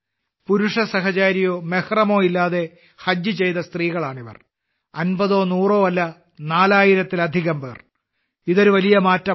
പുരുഷ സഹചാരിയോ അഥവാ മെഹ്റമോ ഇല്ലാതെ ഹജ്ജ് ചെയ്ത സ്ത്രീകളാണിവർ അൻപതോ നൂറോ അല്ല നാലായിരത്തിലധികം പേർ ഇത് ഒരു വലിയ മാറ്റമാണ്